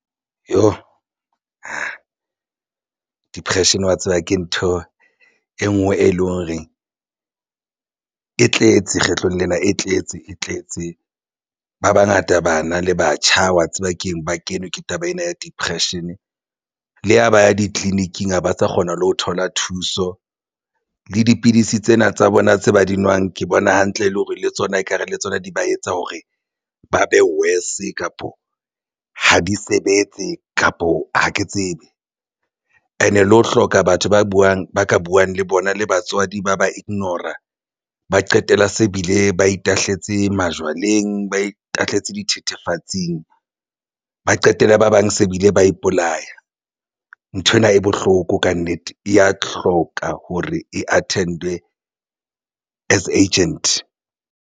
Depression wa tseba ke ntho e nngwe e leng hore e tletse kgetlong lena e tletse tletse ba bangata bana le batjha wa tseba keng ba kenwe ke taba ena ya depression le ya ba ya ditleliniking ha ba sa kgona le ho thola thuso le dipidisi tsena tsa bona tse ba di nwang ke bona hantle le hore le tsona ekare le tsona di ba etsa hore ba be worse kapa ha di sebetse kapo ha ke tsebe and le ho hloka batho ba buwang, ba ka buwang le bona le batswadi ba ba ignore-a ba qetella se bile ba itahlela tse majwaleng ba itahletse dithethefatsing, ba qetella ba bang se bile ba ipolaya nthwena e bohloko kannete e ya hloka hore e attend-we as agent.